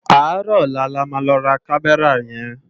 Áàrò òlá lá má lò rá Kàmèrá yèn